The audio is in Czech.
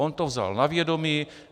On to vzal na vědomí.